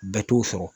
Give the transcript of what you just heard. Bɛɛ t'o sɔrɔ